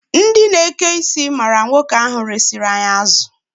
Ndị na-eke isi ma nwoke ahụ resiri anyị azụ.